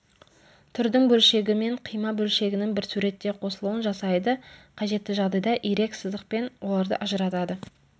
түрдің бөлшегі мен қима бөлшегінің бір суретте қосылуын жасайды қажетті жағдайда ирек сызықпен оларды ажыратады